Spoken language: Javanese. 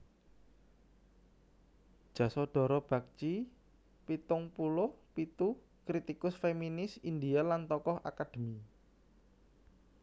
Jasodhara Bagchi pitung puluh pitu kritikus féminis India lan tokoh akadémi